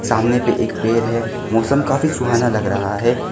सामने पे एक पेड़ है मौसम काफी सुहाना लग रहा है।